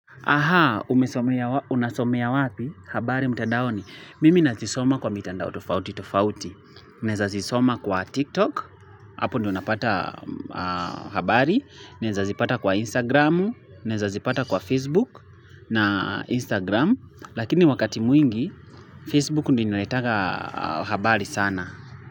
Aha, unasomea wapi? Habari mtandaoni. Mimi nazisoma kwa mitandao tofauti tofauti. Naezazisoma kwa TikTok. Apo ndipo napata habari. Nezazipata kwa Instagram. Naezazipata kwa Facebook na Instagram. Lakini wakati mwingi, Facebook ndio inaletanga habari sana.